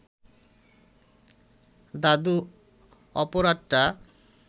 দাদু অপরাধটা